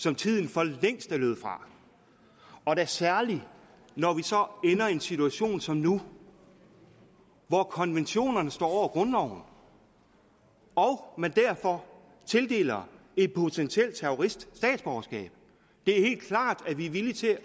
som tiden for længst er løbet fra og da særligt når vi så ender i en situation som nu hvor konventionerne står over grundloven og man derfor tildeler en potentiel terrorist statsborgerskab det er helt klart at vi er villige til